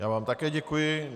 Já vám také děkuji.